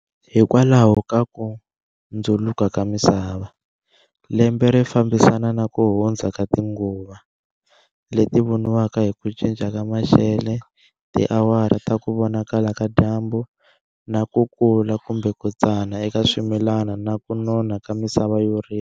Hikwalaho ka ku ndzuluka ka misava, lembe ri fambisana na ku hundza ka tinguva, leti voniwaka hi ku cinca ka maxele, tiawara ta kuvonakala ka dyambu, na ku ku kula kumbe ku tsana ka swimilana na ku nona ka misava yo rima.